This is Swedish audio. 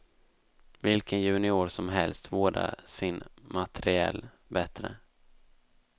Vilken junior som helst vårdar sin materiel bättre.